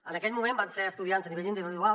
en aquell moment van ser estudiants a nivell individual